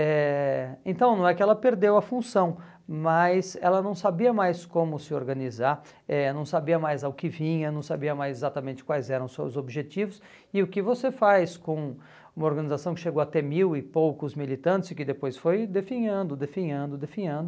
Eh então, não é que ela perdeu a função, mas ela não sabia mais como se organizar, eh não sabia mais ao que vinha, não sabia mais exatamente quais eram os seus objetivos e o que você faz com uma organização que chegou a ter mil e poucos militantes e que depois foi definhando, definhando, definhando...